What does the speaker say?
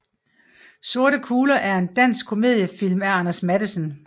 Sorte kugler er en dansk komediefilm af Anders Matthesen